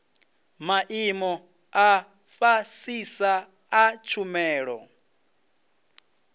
maimo a fhasisa a tshumelo